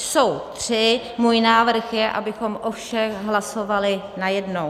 Jsou tři, můj návrh je, abychom o všech hlasovali najednou.